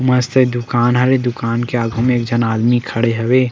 मस्त दुकान हवे दुकान के आघू म एक झन आदमी खड़े हवे।